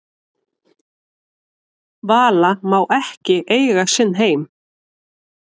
Vala má ekki eiga sinn heim